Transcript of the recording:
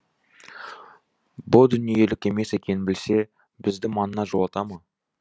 бұ дүниелік емес екенін білсе бізді маңына жолата ма